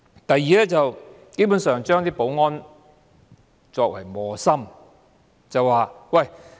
第二，基本上，把保安人員作為磨心。